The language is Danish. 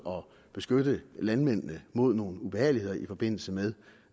at beskytte landmændene mod nogle ubehageligheder i forbindelse med